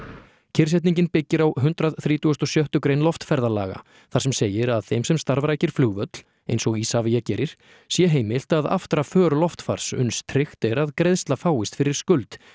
kyrrsetningin byggir á hundrað þrítugasta og sjötta grein loftferðalaga þar sem segir að þeim sem starfrækir flugvöll eins og Isavia gerir sé heimilt að aftra för loftfars uns tryggt er að greiðsla fáist fyrir skuld